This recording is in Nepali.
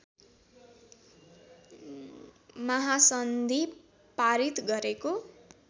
महासन्धि पारित गरेको